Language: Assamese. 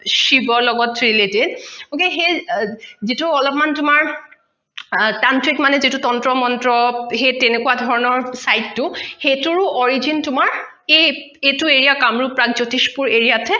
শিৱৰ লগত related okay সেই যিটো অলপ মাণ তোমাৰ তান্ত্ৰিক মাণে তন্ত্ৰ মন্ত্ৰ সেই তোনোকুৱা ধৰণৰ side টো সেইটোৰো origin তোমাৰ কামৰুপ প্ৰাগজ্যোতিষপুৰ area ত হে